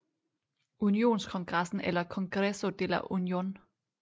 Unionskongressen eller congreso de la unión